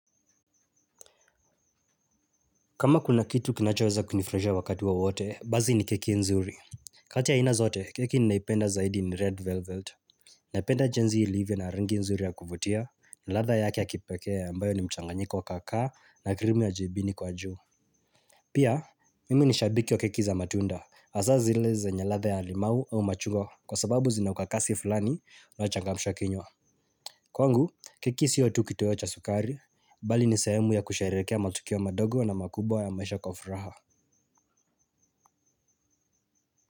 Kama kuna kitu kinachoweza kunifurahisha wakati wowote, basi ni keki nzuri. Kati ya aina zote, keki ninaipenda zaidi ni red velvet. Naipenda jinsi ilivyo na rangi nzuri ya kuvutia, na ladha yake ya kipekea ambayo ni mchanganyiko wa kaakaa na krimi wa jibini kwa juu. Pia, mimi ni shabiki wa keki za matunda. Hasa zile zenye ladha ya limau au machugwa kwa sababu zina ukakasi fulani unaochangamsha kinywa. Kwangu, keki sio tu kitoyo cha sukari, bali ni sehemu ya kusherehekea matukio madogo na makubwa ya maisha kwa furaha.